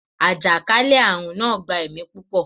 àjàkálẹ̀-arun naa gba ẹmi pupọ